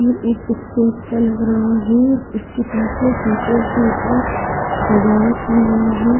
ये एक स्टेज सा लग रहा है इसके पीछे टीचर डे का सजावट की गई है।